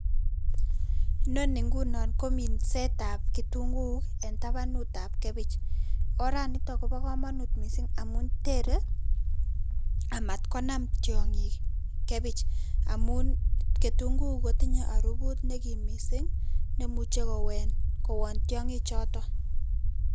Inoni ingunon ko minsaetab kitunguuk en tabanut ab kebich oran niton kobo komoinut missing amun tere amat konam tyonkik kebich amun ketunguuk kotinye oribut nekim missing nemuche kowon tyonkik choton.